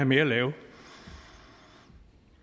mere at lave